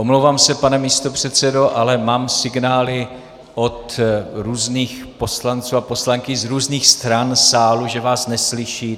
Omlouvám se, pane místopředsedo, ale mám signály od různých poslanců a poslankyň z různých stran sálu, že vás neslyší.